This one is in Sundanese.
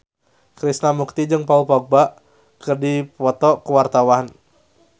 Krishna Mukti jeung Paul Dogba keur dipoto ku wartawan